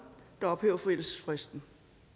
der ophæver forældelsesfristen